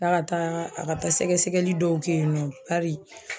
K'a ka taa a ka taa sɛgɛsɛgɛli dɔw kɛ yen nɔ bari